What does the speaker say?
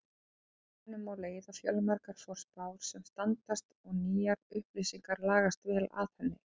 Af henni má leiða fjöldamargar forspár sem standast og nýjar upplýsingar lagast vel að henni.